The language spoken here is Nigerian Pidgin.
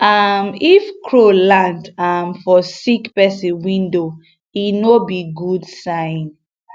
um if crow land um for sick um person window e no be good sign